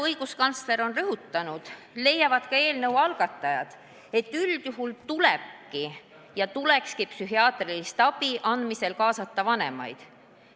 Õiguskantsler on rõhutanud ja ka eelnõu algatajad leiavad, et üldjuhul tulebki ja tulekski psühhiaatrilise abi andmisse kaasata vanemad.